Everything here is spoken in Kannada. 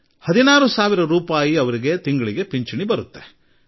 ಅವರಿಗೆ 16 ಸಾವಿರ ರೂಪಾಯಿ ಪಿಂಚಣಿ ಬರುತ್ತದೆ